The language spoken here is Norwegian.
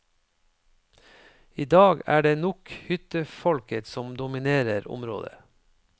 I dag er det nok hyttefolket som dominerer området.